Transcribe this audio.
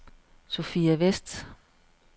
Sophia Vest